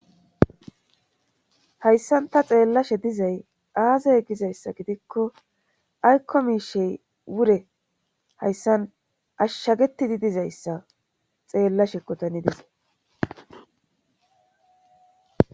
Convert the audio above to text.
hayssan ta xeellashe dizay aazay gizayssa gidikko aykko miishey wure hayssan ashshagetidi dizayssa xeellashekko tani dizay